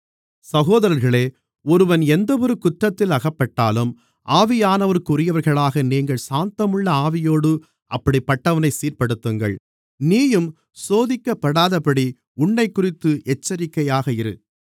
சகோதரர்களே ஒருவன் எந்தவொரு குற்றத்தில் அகப்பட்டாலும் ஆவியானவருக்குரியவர்களாகிய நீங்கள் சாந்தமுள்ள ஆவியோடு அப்படிப்பட்டவனைச் சீர்ப்படுத்துங்கள் நீயும் சோதிக்கப்படாதபடி உன்னைக்குறித்து எச்சரிக்கையாக இரு